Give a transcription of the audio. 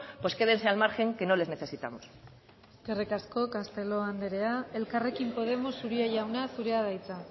pues quédense al margen que no les necesitamos eskerrik asko castelo anderea elkarrekin podemos uria jauna zurea da hitza